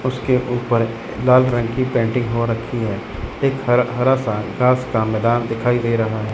उसके ऊपर लाल रंग की पेंटिंग हो रखी है एक हर हरा सा घास का मैदान दिखाई दे रहा--